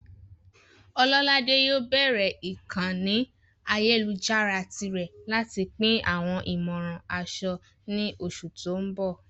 Ololade yóò bẹ̀rẹ̀ ìkànnì ayélujára tirẹ̀ láti pín àwọn ìmọ̀ràn aṣọ ní oṣù tó ń bọ̀.